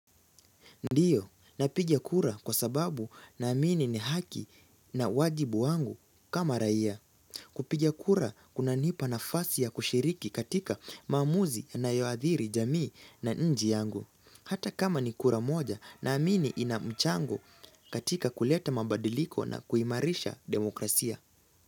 Ndiyo, napiga kura kwa sababu na amini ni haki na wajibu wangu kama raia kupigia kura kuna nipa na fasi ya kushiriki katika maamuzi yanayoadhiri jamii na nchi yangu Hata kama ni kura moja na amini inamchango katika kuleta mabadiliko na kuimarisha demokrasia.